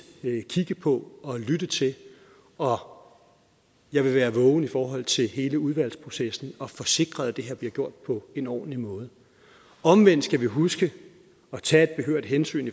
kigge på og lytte til og jeg vil være vågen i forhold til hele udvalgsprocessen for at få sikret at det her bliver gjort på en ordentlig måde omvendt skal vi huske at tage et behørigt hensyn